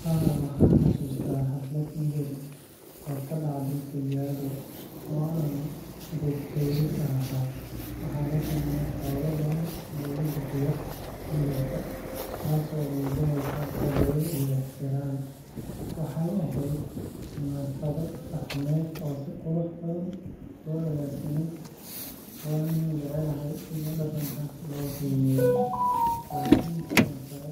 Haa, waxaan xasuustaa xaflad meher oo ka dhacday Kajiado oo aan goob-jooge ka ahaa. Waxaa la keenay xoolo badan si loogu bixiyo meherka, taasoo muujinaysay qadarin iyo ixtiraam. Waxay ahayd munaasabad dhaqameed oo si qurux badan loo agaasimay, waana jeclahay sida dhaqanka loo qiimeeyo. Laakiin sidoo kale